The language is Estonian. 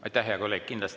Aitäh, hea kolleeg!